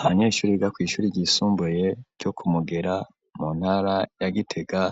Abanyeshure biga kw'ishure ryisumbuye ryo kumugera mu ntara ya gitega